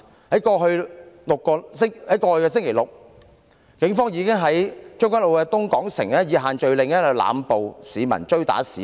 在剛過去的星期六，警方在將軍澳東港城以限聚令濫捕和追打市民。